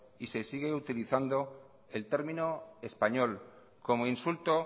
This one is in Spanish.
y se sigue utilizando el término español como insulto